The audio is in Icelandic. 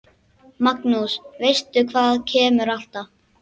Magnús: Veistu hvað kemur alltaf?